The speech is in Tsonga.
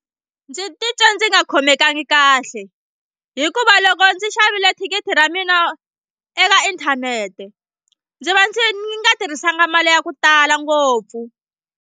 Ndzi titwe ndzi nga khomekangi kahle hikuva loko ndzi xavile thikithi ra mina eka inthanete ndzi va ndzi nga tirhisanga mali ya ku tala ngopfu.